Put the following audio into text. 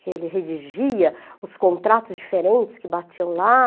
que ele redigia os contratos diferentes que batiam lá.